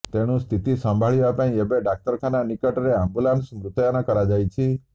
ତେଣୁ ସ୍ଥିତି ସମ୍ଭାଳିବାପାଇଁ ଏବେ ଡାକ୍ତରଖାନା ନିକଟରେ ଆମ୍ବୁଲାନ୍ସ ମୁତୟନ କରାଯାଇଛି